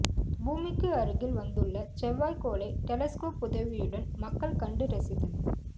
பூமிக்கு அருகில் வந்துள்ள செவ்வாய்கோளை டெலஸ்கோப் உதவியுடன் மக்கள் கண்டு ரசித்தனர்